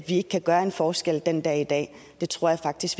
ikke kan gøre en forskel den dag i dag det tror jeg faktisk